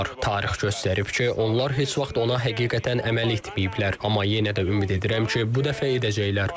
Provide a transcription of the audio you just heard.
Tarix göstərib ki, onlar heç vaxt ona həqiqətən əməl etməyiblər, amma yenə də ümid edirəm ki, bu dəfə edəcəklər.